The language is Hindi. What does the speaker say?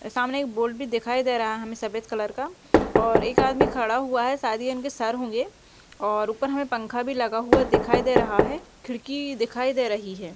सामने एक बोर्ड भी दिखाई दे रहा है हमें सफेद कलर का और एक अदमी खड़ा हुआ है शायद ये इनके सर होंगे और ऊपर हमें पंखा भी लगा हुआ दिखाई दे रहा है खिड़की दिखाई दे रही है।